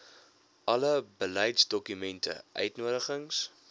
alle beleidsdokumente uitnodigings